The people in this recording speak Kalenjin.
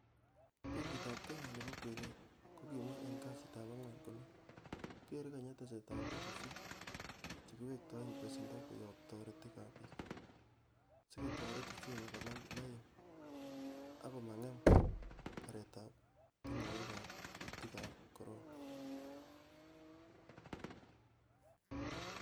Benkit ab kenya nebo kwenet kokimwa en kasitab ang'wan kole"kere kenya tesetab betusiek che kiwektoen besendo koyob toretik ab bii, sikotoret uchumi konam lain ak komang'em borietab ting'oek ab kuutik ab corona.